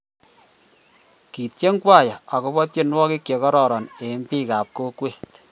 Kitien kwaya akobo tienwokik che kororon eng biik ab kokwet